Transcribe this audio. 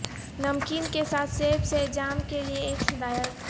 نمکین کے ساتھ سیب سے جام کے لئے ایک ہدایت